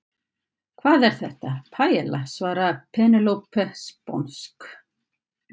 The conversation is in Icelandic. Hvað er þetta? Paiella, svaraði Penélope sponsk.